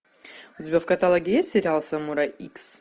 у тебя в каталоге есть сериал самурай икс